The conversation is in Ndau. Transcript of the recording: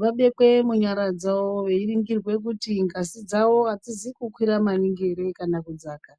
vabekwe munyara dzavo veiringirwa kuti ngazi dzavo hadzizi kukwira maningi ere ,kana kudzaka.